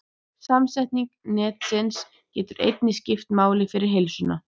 Samsetning nestisins getur einnig skipt máli fyrir heilsuna.